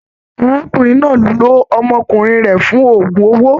Arákùnrin náà ló ọmọkùnrin rẹ fún ogún owó.